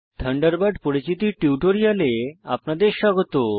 Thunderbird পরিচিতির টিউটোরিয়ালে আপনাদের স্বাগত